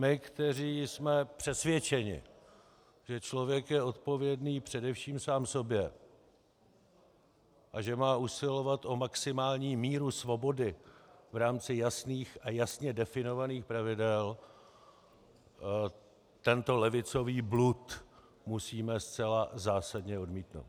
My, kteří jsme přesvědčeni, že člověk je odpovědný především sám sobě a že má usilovat o maximální míru svobody v rámci jasných a jasně definovaných pravidel, tento levicový blud musíme zcela zásadně odmítnout.